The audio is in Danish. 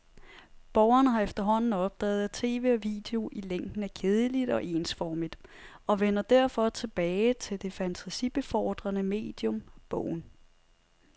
Borgerne har efterhånden opdaget, at tv og video i længden er kedeligt og ensformigt, og vender derfor tilbage til det fantasibefordrende medium, bogen.